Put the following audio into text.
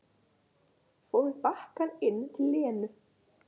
Fór með bakkann inn til Lenu.